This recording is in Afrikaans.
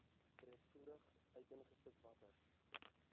breedvoerig uiteengesit watter